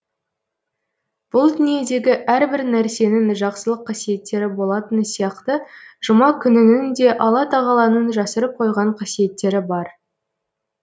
бұл дүниедегі әрбір нәрсенің жақсылық қасиеттері болатыны сияқты жұма күнінің де алла тағаланың жасырып қойған қасиеттері бар